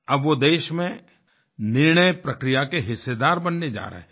अब वो देश में निर्णय प्रक्रिया के हिस्सेदार बनने जा रहे हैं